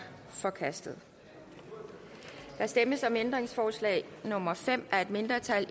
forkastet der stemmes om ændringsforslag nummer fem af et mindretal